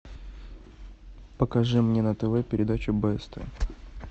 покажи мне на тв передачу бст